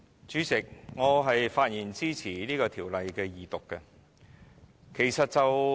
主席，我發言支持《2017年僱傭條例草案》二讀。